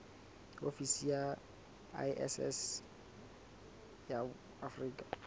ofisi ya iss ya afrika